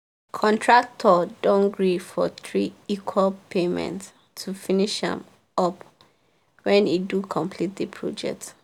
her contractor don gree for three equal paymentsto finish am up when e do complete the project.